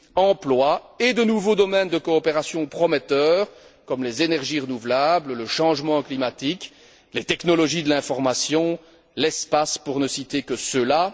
emplois et les nouveaux domaines de coopération prometteurs comme les énergies renouvelables, le changement climatique, les technologies de l'information, l'espace, pour ne citer que ceux là.